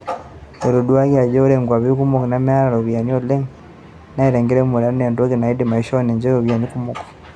Etoduaki ajo ore nkwapi kumok nemeeta iropiyiana oleng' neeta enkiremore enaa entoki naidim aishoo ninche iropiyiani kumok.